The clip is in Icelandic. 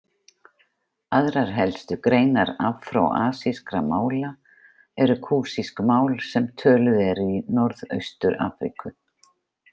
Aðrar helstu greinar afró-asískra mála eru kúsísk mál sem töluð eru í Norðaustur-Afríku.